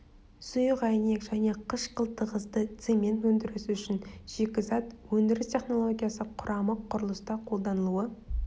сұйық әйнек және қышқыл тығызды цемент өндіріс үшін шикізат өндіріс технологиясы құрамы құрылыста қолданылуы